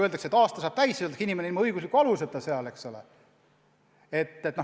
Kui aasta saab täis, siis öeldakse, et inimene on ilma õigusliku aluseta hooldekodus, eks ole.